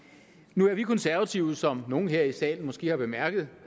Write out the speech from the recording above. nu er vi konservative som nogle her i salen måske har bemærket